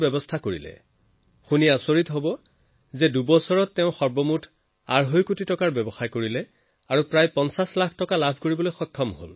আপুনি জানি আচৰিত হব যে বীৰেন্দ্ৰজীয়ে নৰাৰ পৰা মাত্ৰ দুবছৰত দেৰকোটি টকাতকৈ অধিক বেপাৰ কৰিছে আৰু তাতো প্ৰায় ৫০ লাখ টকা মুনাফা অৰ্জন কৰিছে